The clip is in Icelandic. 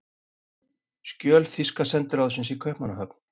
Skjöl þýska sendiráðsins í Kaupmannahöfn.